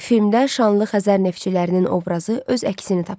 Filmdə şanlı Xəzər neftçilərinin obrazı öz əksini tapıb.